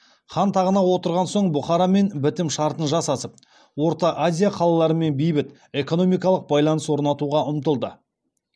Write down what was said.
хан тағына отырған соң бұхарамен бітім шартын жасасып орта азия қалаларымен бейбіт экономикалық байланыс орнатуға ұмтылды